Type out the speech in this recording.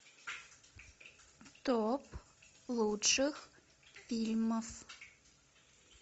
топ лучших фильмов